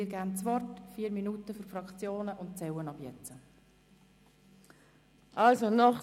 Sie haben 4 Minuten für die Fraktionserklärung.